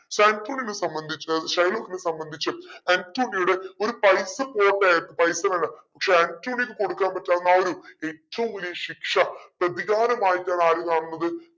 നെ സംബന്ധിച്ചു ഷൈലോക്കിനെ സംബന്ധിച്ചു ആന്റോണിയോടെ ഒരു pipe ആയിരുന്നു pipe പക്ഷെ ആന്റോണിയോക്ക് കൊടുക്കാൻ പറ്റാവുന്ന ആ ഒരു ഏറ്റവും വലിയ ശിക്ഷ പ്രതികാരം ആയിട്ടാണ് ആര് കാണുന്നത്